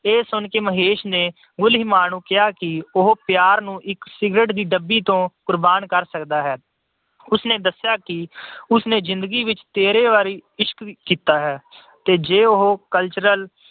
ਇਹ ਸੁਣ ਕੇ ਮਹੇਸ਼ ਨੇ ਗੁਲੀਮਾ ਨੂੰ ਕਿਹਾ ਕਿ ਉਹ ਪਿਆਰ ਨੂੰ ਇੱਕ cigarette ਦੀ ਡੱਬੀ ਤੋਂ ਕੁਰਬਾਨ ਕਰ ਸਕਦਾ ਹੈ। ਉਸਨੇ ਦੱਸਿਆ ਕਿ ਉਸਨੇ ਜਿੰਦਗੀ ਵਿੱਚ ਤੇਰ੍ਹਾ ਵਾਰ ਇਸ਼ਕ ਕੀਤਾ ਹੈ ਤੇ ਜੇ ਉਹ cultural